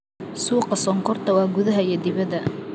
Suuqa sonkorta waa gudaha iyo dibadda.